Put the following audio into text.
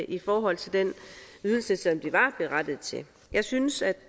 i forhold til den ydelse som de var berettiget til jeg synes at